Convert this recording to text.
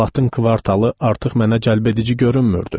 Latın kvartalı artıq mənə cəlbedici görünmürdü.